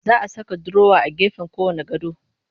Za a saka durowa a gefen kowanne gado